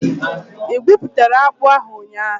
Ị igwuputara akpu ahu ụnyahụ?